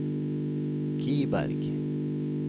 Kiberg